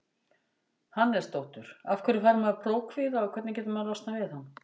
Hannesdóttur Af hverju fær maður prófkvíða og hvernig getur maður losnað við hann?